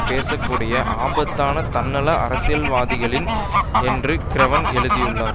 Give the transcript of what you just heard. பேசக் கூடிய ஆபத்தான தன்னல அரசியல்வாதிகள்தான் என்று கிரெவன் எழுதியுள்ளார்